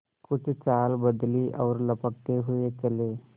कुछ चाल बदली और लपकते हुए चले